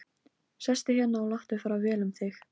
Sestu hérna og láttu fara vel um þig!